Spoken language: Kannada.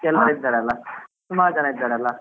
ಕೆಲ್ವರ್ ಇದ್ದಾರಲ್ಲ ಸುಮಾರು ಜನ ಇದ್ದಾರಲ್ಲ.